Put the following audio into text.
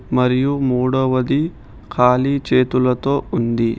మరియు మూడవది ఖాళీ చేతులతో ఉంది.